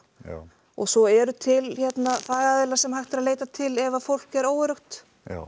og svo eru til fagaðilar sem hægt er að leita til ef fólk er óöruggt